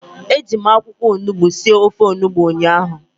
Eji m akwụkwọ onugbu sie ofe onugbu ụnyahụ